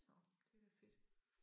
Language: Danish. Så det da fedt